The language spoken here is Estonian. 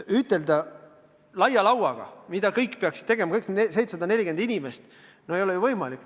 Ütelda nagu laia lauaga lüües, mida kõik peaksid tegema, kõik 740 000 inimest – no ei ole ju võimalik.